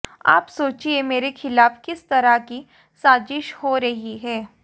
आप सोचिए मेरे खिलाफ किस तरह की साजिश हो रही है